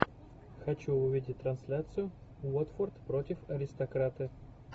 хочу увидеть трансляцию уотфорд против аристократы